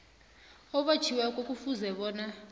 obotjhiweko kufuze bona